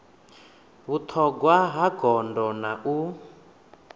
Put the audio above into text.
vhuṱhogwa ya gondo na u